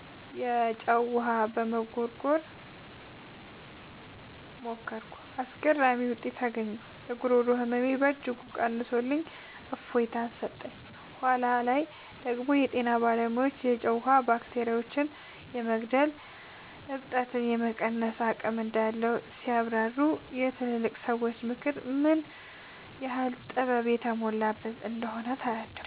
የጨው ውሃ መጉርጎርን ሞከርኩ። አስገራሚ ውጤት አገኘሁ! የጉሮሮ ህመሜን በእጅጉ ቀንሶልኝ እፎይታ ሰጠኝ። በኋላ ላይ ደግሞ የጤና ባለሙያዎች የጨው ውሃ ባክቴሪያዎችን የመግደልና እብጠትን የመቀነስ አቅም እንዳለው ሲያብራሩ፣ የትላልቅ ሰዎች ምክር ምን ያህል ጥበብ የተሞላበት እንደነበር ተረዳሁ።